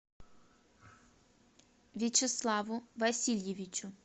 вячеславу васильевичу